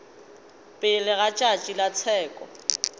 pele ga tšatši la tsheko